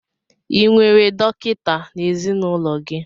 Ị nwere dọkịta n'ezinụlọ gị?